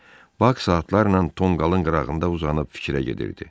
Bak saatlarla tonqalın qırağında uzanıb fikrə gedirdi.